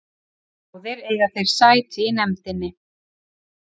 Báðir eiga þeir sæti í nefndinni